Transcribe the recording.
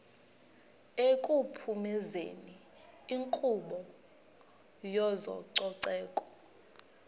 ekuphumezeni inkqubo yezococeko